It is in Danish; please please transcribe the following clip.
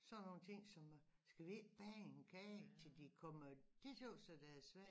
Sådan nogle ting som at skal vi ikke bage en kage til de kommer det tøs dét tøs jeg det er svært